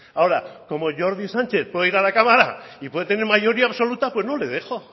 ahora como jordi sánchez puede ir a la cámara y puede tener mayoría absoluta pues no le dejo